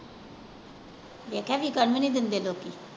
ਵੇਖਿਆ ਵਿਕਣ ਵੀ ਨਹੀਂ ਦਿੰਦੇ ਲੋਕੀ।